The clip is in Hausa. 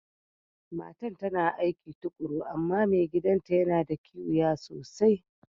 Matan ta na aiki tukuru amma mai gidan'ta ya na da kiwiya sosai.